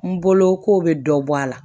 N bolo ko bɛ dɔ bɔ a la